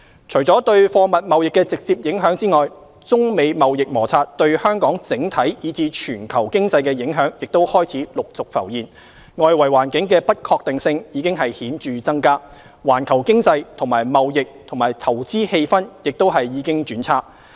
除對貨物貿易的直接影響外，中美貿易摩擦對香港整體以至全球經濟的影響開始陸續浮現，外圍環境的不確定性已顯著增加，環球經濟及貿易和投資氣氛亦已經轉差。